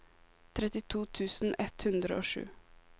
trettito tusen ett hundre og sju